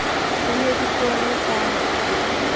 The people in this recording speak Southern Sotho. di ne di ponngwe ka